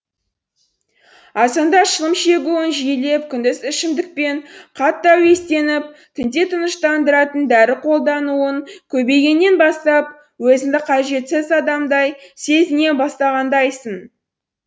азанда шылым шегуің жиілеп күндіз ішімдікпен қатты әуестеніп түнде тыныштандыратын дәрі қолдануың көбейгеннен бастап өзіңді қажетсіз адамдай сезіне бастағандайсың